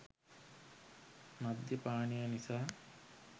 මධ්‍ය පානය නිසා